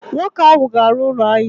Nwoke ahụ ga-arụ ụlọ ahịa!